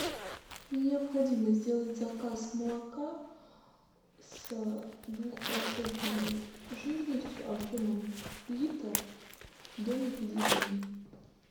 мне необходимо сделать заказ молока с двухпроцентной жирностью объемом литр домик в деревне